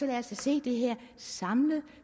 da se det her samlet